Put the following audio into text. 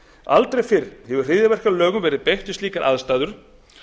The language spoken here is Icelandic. aldrei fyrr hefur hryðjuverkalögum verið beitt við slíkar aðstæður